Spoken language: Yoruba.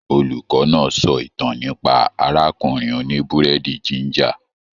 Olùkọ náà sọ ìtàn nípa arákùnrin òní-burẹdi jìnjà.